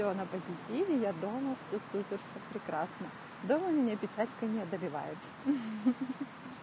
всё на позитиве я дома всё супер всё прекрасно дома меня печаль не одолевает